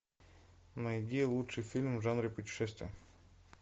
найди лучшие фильмы в жанре путешествия